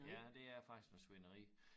Ja det er faktisk noget svineri